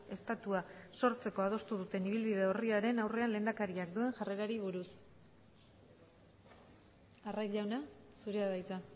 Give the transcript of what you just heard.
estatua sortzeko adostu duten ibilbide orriaren aurrean lehendakariak duen jarrerari buruz arraiz jauna zurea da hitza